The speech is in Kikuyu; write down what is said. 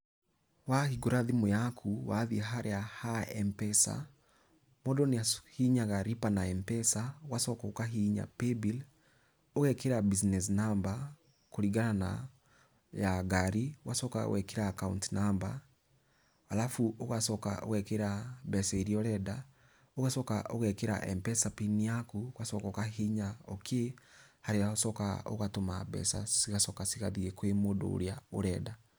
Wahingũra thimũ yaku wathiĩ harĩa ha Mpesa mũndũ nĩahihinyaga lipa na Mpesa ũgacoka ũkahihinya paybill ũgekĩra business number ya ngari ũgacoka ũgekĩra account number, arabu ũgacoka ũgekĩra mbeca iria ũrenda, ũgacoka ũgekĩra Mpesa pin yaku ũgacoka ũkahihinya okay ũgacoka ũgatũma mbeca cigacoka ĩgathiĩ kwi mũndũ ũrĩa ũrenda.